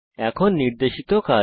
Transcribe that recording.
এখন নির্দেশিত কাজ